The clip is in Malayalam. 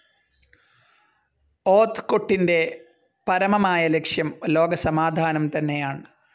ഓത്ത്കൊട്ടിന്റെ പരമമായ ലക്ഷ്യം ലോകസമാധാനം തന്നെയാണ്‌.